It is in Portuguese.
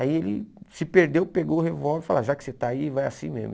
Aí ele se perdeu, pegou o revólver e falou, já que você está aí, vai assim mesmo.